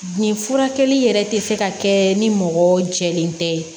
Nin furakɛli yɛrɛ tɛ se ka kɛ ni mɔgɔ jɛlen tɛ